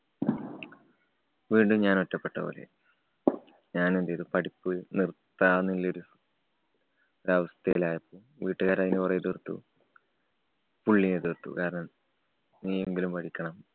വീണ്ടും ഞാനൊറ്റപ്പെട്ട പോലെയായി. ഞാനെന്തു ചെയ്തു പഠിപ്പു നിര്‍ത്താനുള്ളൊരു ഒരവസ്ഥയിലായപ്പോ വീട്ടുകാര് അതിനെ കുറേ എതിര്‍ത്തു. പുള്ളിയും എതിര്‍ത്തു. കാരണം, നീയെങ്കിലും പഠിക്കണം